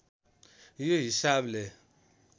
यो हिसाबले